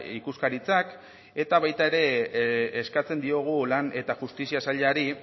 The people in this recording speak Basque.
ikuskaritzak eta baita ere eskatzen diogu lan eta justizia sailari